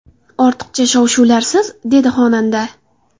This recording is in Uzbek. Ortiqcha shov-shuvlarsiz”, dedi xonanda.